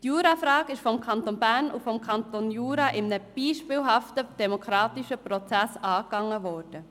Die Jurafrage ist von den Kantonen Bern und Jura in einem beispielhaften demokratischen Prozess angegangen worden.